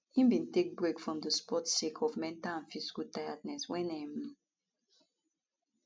im bin take break from di sport sake of mental and physical tiredness wen um